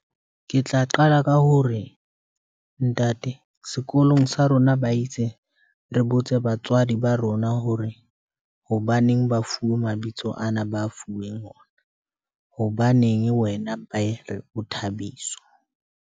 Ke tla qala ka ho re ntate, sekolong sa rona, ba itse re botse batswadi ba rona hore hobaneng ba fuwe mabitso ana ba fuweng ona. Hobaneng wena ba ko re o Thabiso.